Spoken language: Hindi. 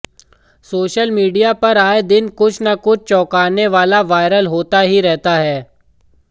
सोशल मीडिया पर आए दिन कुछ न कुछ चौकाने वाला वायरल होता ही रहता है